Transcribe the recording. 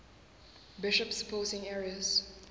bishops supporting arius